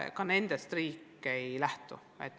Ka nendest andmetest riik ei lähtu.